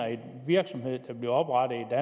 at en virksomhed bliver oprettet